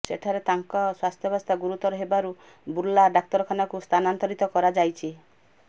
ସେଠାରେ ତାଙ୍କ ସ୍ୱାସ୍ଥ୍ୟାବସ୍ଥା ଗୁରୁତର ହେବାରୁ ବୁର୍ଲା ଡାକ୍ତରଖାନାକୁ ସ୍ଥାନାନ୍ତରିତ କରାଯାଇଛି